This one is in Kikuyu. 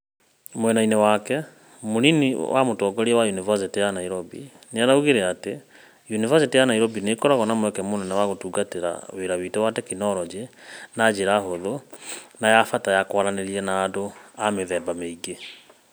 Mwena-ini wake Kiama, munini wa mutongoria wa Yunivacĩtĩ ya Nairobi, niaugire ati: "Yunivacĩtĩ ya Nairobi ni ikoragwo na mweke munene wa gutungatira wira witu wa tekinoronjĩ na njira hũthũ no ya bata ya kwaraniria na andu a mithemba miingi".